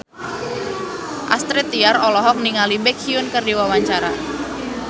Astrid Tiar olohok ningali Baekhyun keur diwawancara